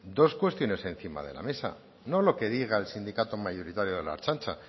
dos cuestiones encima de la mesa no lo que diga el sindicato mayoritario de la ertzaintza